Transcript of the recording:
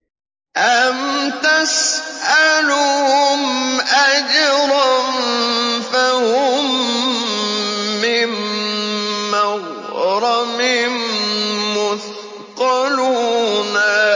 أَمْ تَسْأَلُهُمْ أَجْرًا فَهُم مِّن مَّغْرَمٍ مُّثْقَلُونَ